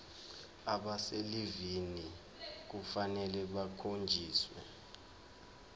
abaselivini kufanele bakhonjiswe